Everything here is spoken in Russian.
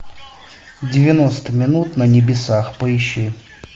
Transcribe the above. девяносто минут на небесах поищи